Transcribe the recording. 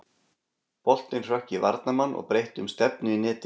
Boltinn hrökk í varnarmann og breytti um stefnu í netið.